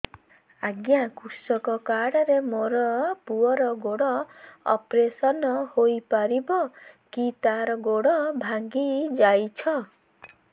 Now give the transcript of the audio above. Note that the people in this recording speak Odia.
ଅଜ୍ଞା କୃଷକ କାର୍ଡ ରେ ମୋର ପୁଅର ଗୋଡ ଅପେରସନ ହୋଇପାରିବ କି ତାର ଗୋଡ ଭାଙ୍ଗି ଯାଇଛ